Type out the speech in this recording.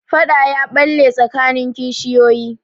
Faɗa ya ɓalle tsakanin kishiyoyi.